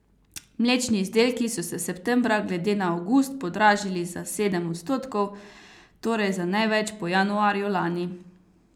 Mlečni izdelki so se septembra glede na avgust podražili za sedem odstotkov, torej za največ po januarju lani.